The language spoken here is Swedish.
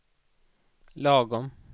lagom